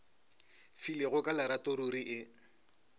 filego ka lerato ruri e